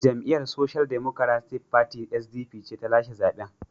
Jam’iyyar Social Democratic Party (SDP) ce ta lashe zaben.